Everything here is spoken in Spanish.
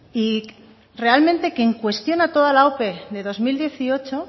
y realmente quien cuestiona toda la ope de dos mil dieciocho